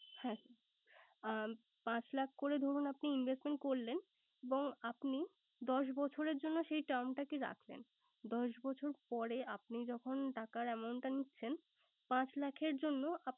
হ্যাঁ আহ পাঁচ লাখ করে ধরুন আপনি investment করলেন এবং আপনি দশ বছরের জন্য সেই term টাকে রাখলেন। দশ বছর পরে আপনি যখন টাকার amount টা নিচ্ছেন পাঁচ লাখের জন্য আপনি